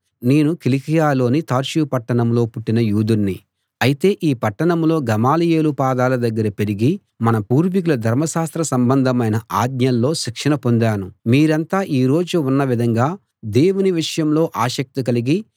నేను కిలికియలోని తార్సు పట్టణంలో పుట్టిన యూదుణ్ణి అయితే ఈ పట్టణంలో గమలీయేలు పాదాల దగ్గర పెరిగి మన పూర్వీకుల ధర్మశాస్త్ర సంబంధమైన ఆజ్ఞల్లో శిక్షణ పొందాను మీరంతా ఈ రోజు ఉన్న విధంగా దేవుని విషయంలో ఆసక్తి కలిగి